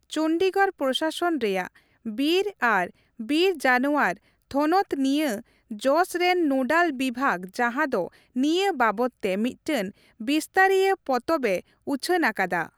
ᱪᱚᱱᱰᱤᱜᱚᱲ ᱯᱨᱚᱥᱟᱥᱚᱱ ᱨᱮᱭᱟᱜ ᱵᱤᱨ ᱟᱨ ᱵᱤᱨ ᱡᱟᱱᱣᱟᱨ ᱛᱷᱚᱱᱚᱛ ᱱᱤᱭᱟᱹ ᱡᱚᱥ ᱨᱮᱱ ᱱᱳᱰᱟᱞ ᱵᱤᱵᱷᱟᱹᱜᱽ ᱡᱟᱦᱟᱸ ᱫᱚ ᱱᱤᱭᱟᱹ ᱵᱟᱵᱚᱫ ᱛᱮ ᱢᱤᱫᱴᱮᱱ ᱵᱤᱥᱛᱟᱹᱨᱤᱭᱟᱹ ᱯᱚᱛᱚᱵᱼᱮ ᱩᱪᱷᱟᱹᱱ ᱟᱠᱟᱫᱟ ᱾